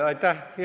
Aitäh!